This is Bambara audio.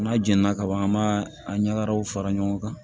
N'a jɛnna kaban an b'a a ɲagaraw fara ɲɔgɔn kan